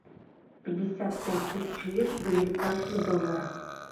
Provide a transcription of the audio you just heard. пятьдесят пять тысяч лир в американских долларах